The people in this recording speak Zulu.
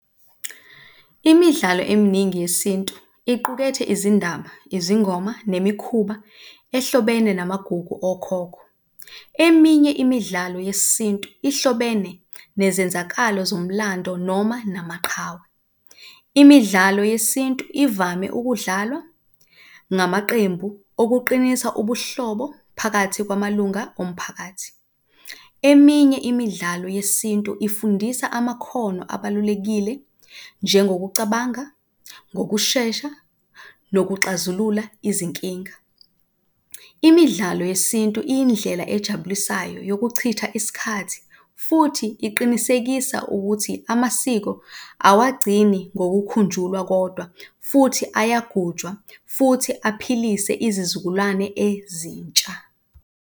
Imidlalo eminingi yesintu iqukethe izindaba, izingoma nemikhuba ehlobene namagugu okhokho. Eminye imidlalo yesintu ihlobene nezenzakalo zomlando noma namaqhawe. Imidlalo yesintu ivame ukudlalwa ngamaqembu okuqinisa ubuhlobo phakathi kwamalunga omphakathi. Eminye imidlalo yesintu ifundisa amakhono abalulekile njengokucabanga ngokushesha nokuxazulula izinkinga. Imidlalo yesintu iyindlela ejabulisayo yokuchitha isikhathi futhi iqinisekisa ukuthi amasiko awagcini ngokukhunjulwa kodwa futhi ayagujwa, futhi aphilise izizukulwane ezintsha.